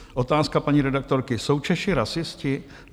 Otázka paní redaktorky: Jsou Češi rasisté?